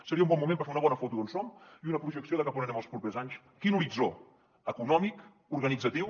seria un bon moment per fer una bona foto d’on som i una projecció de cap a on anem els propers anys quin horitzó econòmic organitzatiu